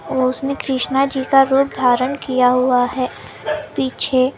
और उसने कृष्णा जी रूप धारण किया हुआ हैं पीछे।